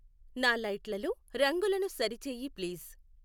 నా లైట్లలో రంగులను సరిచెయ్యి ప్లీజ్